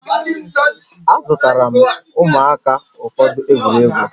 Azụtara m ụmụaka ụfọdụ egwuregwu